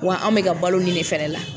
Wa anw bɛ ka balo nin de fɛnɛ la